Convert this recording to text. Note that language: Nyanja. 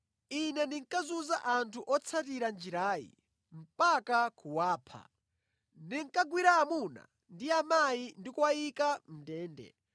Ine ndinkazunza anthu otsatira Njirayi mpaka kuwapha. Ndinkagwira amuna ndi amayi ndi kuwayika mʼndende.